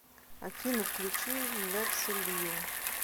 афина включи лекси лью